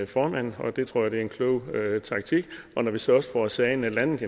formand og det tror jeg er en klog taktik og når vi så også får sagen landet